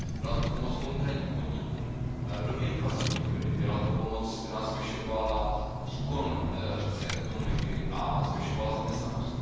Byla to pomoc konkrétním podnikům, do infrastruktury, byla to pomoc, která zvyšovala výkon řecké ekonomiky a zvyšovala zaměstnanost.